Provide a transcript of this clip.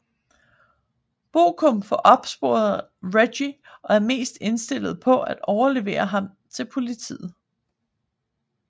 Bucum får opsporet Reggie og er mest indstillet på at overlevere ham til politiet